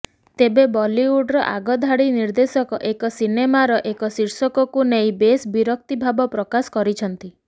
ତେବେ ବଲିଉଡ଼ର ଆଗଧାଡି ନିର୍ଦ୍ଦେଶକ ଏକ ସିନେମାର ଏକ ଶୀର୍ଷକକୁ ନେଇ ବେଶ ବିରକ୍ତି ଭାବ ପ୍ରକାଶ କରିଛନ୍ତି